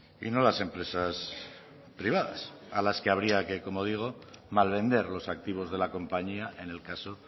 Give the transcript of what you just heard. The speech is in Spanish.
y no las empresas privadas a las que habría que como digo malvender los activos de la compañía en el caso